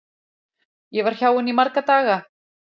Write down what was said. Ég var hjá henni í marga daga.